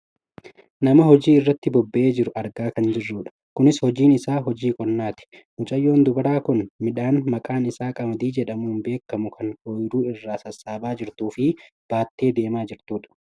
nama hojii irratti bobba'ee jiru argaa kan jirrudha . kunis hojiin isaa hojii qonnaati, mucayyoon dubaraa kun midhaan maqaan isaa qamadii jedhamuun beekkamu kan ooyiruu irraa sassaabaa jirtuufi baattee deemaa jirtudha.